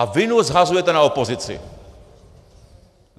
A vinu shazujete na opozici.